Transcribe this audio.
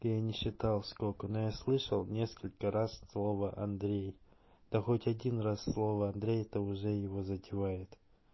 я не считал сколько но я слышал несколько раз слово андрей да хоть один раз слово андрей это уже его затевает